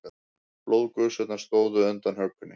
Blóðgusurnar stóðu undan hökunni.